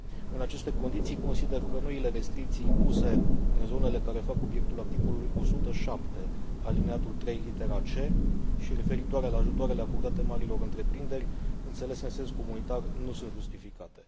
În aceste condiții, consider că noile restricții impuse în zonele care fac obiectul articolului 107 alineatul litera și referitoare la ajutoarele acordate marilor întreprinderi înțelese în sens comunitar nu sunt justificate.